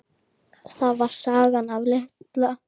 Það var sagan af Litla